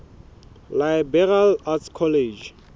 liberal arts college